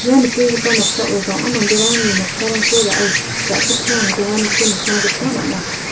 ia nikenggipa noksao bang·a manderangni noksarangko ra·e ja·chipchang donganiko nikna gita man·a.